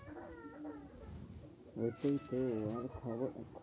ওটাই তো